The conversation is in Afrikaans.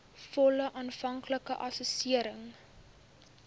volle aanvanklike assessering